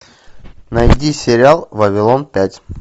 найди сериал вавилон пять